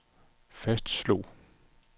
fastslog